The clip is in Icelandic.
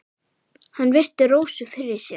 Hann virti Rósu fyrir sér.